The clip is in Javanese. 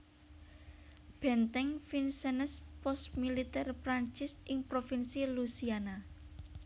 Benteng Vincennes pos militèr Prancis ing provinsi Louisiana